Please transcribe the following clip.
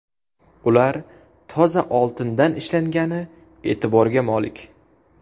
Ular toza oltindan ishlangani e’tiborga molik.